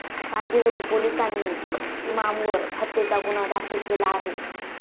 कांदिवली पोलिसांनी इमामवर हत्येचा गुन्हा दाखल केला आहे.